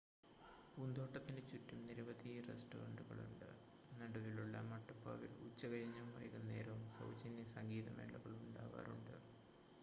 പൂന്തോട്ടത്തിന് ചുറ്റും നിരവധി റെസ്റ്റോറൻ്റുകളുണ്ട് നടുവിലുള്ള മട്ടുപ്പാവിൽ ഉച്ചകഴിഞ്ഞും വൈകുന്നേരവും സൗജന്യ സംഗീതമേളകൾ ഉണ്ടാവാറുണ്ട്